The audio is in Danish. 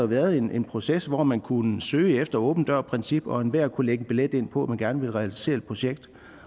været en proces hvor man kunne søge et åben dør princip og enhver kunne lægge billet ind på at man gerne ville realisere et projekt